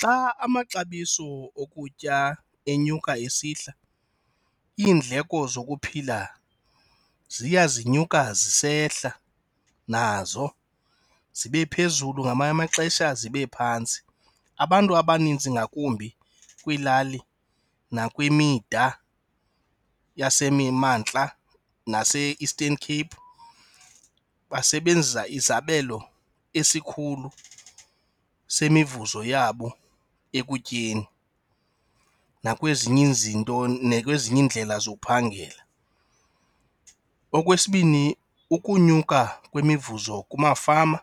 Xa amaxabiso okutya enyuka esihla iindleko zokuphila ziya zinyuka zisehla nazo, zibe phezulu ngamanye amaxesha zibe phantsi. Abantu abaninzi ngakumbi kwiilali nakwimida yasemimantla nase-Eastern Cape basebenzisa izabelo esikhulu semivuzo yabo ekutyeni nakwezinye izinto, nakwezinye indlela zokuphangela. Okwesibini ukunyuka kwemivuzo kumafama